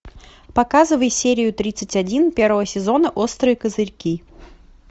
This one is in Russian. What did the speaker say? показывай серию тридцать один первого сезона острые козырьки